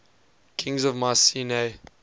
kings of mycenae